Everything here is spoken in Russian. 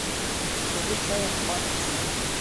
закажи чай ахмад ти